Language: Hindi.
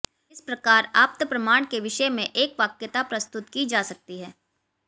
इस प्रकार आप्तप्रमाण के विषय में एकवाक्यता प्रस्तुत की जा सकती है